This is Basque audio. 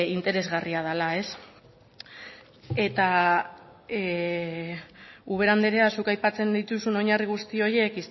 interesgarria dela eta ubera andrea zuk aipatzen dituzun oinarri guzti horiek